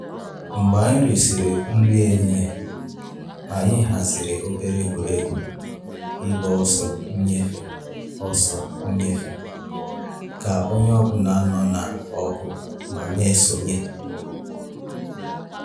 Mgbe eri sịrị nri ehihie, anyị haziri obere egwuregwu ịgba ọsọ ịnyefe ọsọ ịnyefe ka onye ọ bụla nọ n’ọkụ ma na eso nye.